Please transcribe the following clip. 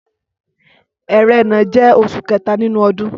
Ẹrẹ́nà jẹ́ oṣù kẹta nínú ọdún.